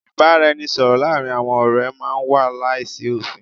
Ìbáraẹnisọ̀rọ̀ láàárín àwọn ọ̀rẹ́ máà ń wà láìsí òfin.